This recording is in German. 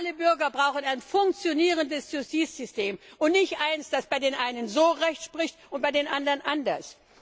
Alle Bürger brauchen ein funktionierendes Justizsystem und nicht eins, das bei den einen so Recht spricht und bei den anderen anders.